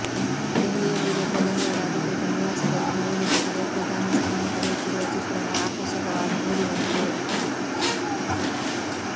ದೆಹಲಿಯಲ್ಲಿರುವ ಪ್ರಧಾನಿಯವರ ಅಧಿಕೃತ ನಿವಾಸದಲ್ಲಿ ನವಿಲು ಜೊತೆಗೆ ಪ್ರಧಾನಿ ಸಮಯ ಕಳೆಯುತ್ತಿರುವ ಚಿತ್ರಣ ಆಕರ್ಷಕವಾಗಿ ಮೂಡಿಬಂದಿದೆ